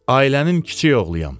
Ailənin kiçik oğluyam.